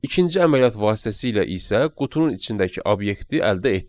İkinci əməliyyat vasitəsilə isə qutunun içindəki obyekti əldə etdik.